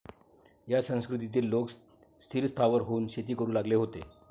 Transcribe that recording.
या संस्कृतीतील लोक स्थिरस्थावर होऊन शेती करू लागले होते.